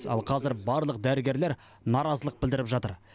ал қазір барлық дәрігерлер наразылық білдіріп жатыр